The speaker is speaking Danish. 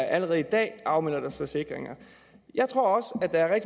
allerede i dag afmelder deres forsikringer jeg tror også at der er